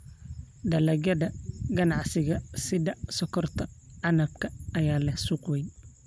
Dalagyada ganacsiga sida sonkorta canabka ayaa leh suuq weyn.